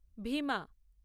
Bhima